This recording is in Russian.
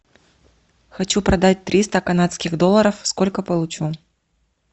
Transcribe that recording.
хочу продать триста канадских долларов сколько получу